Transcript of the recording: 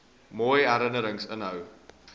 mooi herinnerings inhou